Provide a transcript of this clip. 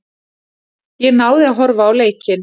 Ég náði að horfa á leikinn.